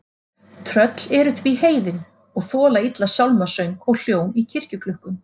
Tröll eru því heiðin og þola illa sálmasöng og hljóm í kirkjuklukkum.